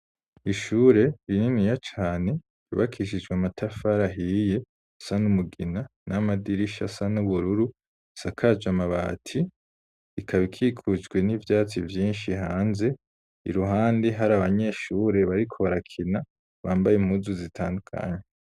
Ishure rininiya cane ryubakishijw' amatafar’ ahiye risa n'umugina n'amadirish'asa n'ubururu isakaj'amabati , ikab'ikikujwe n'ivyatsi vyinshi hanze, iruhande har'abanyeshure bariko barakina bambay'impuzu zitandukanye.